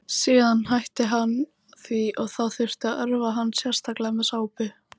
Síðan hætti hann því og þá þurfti að örva hann sérstaklega með sápu.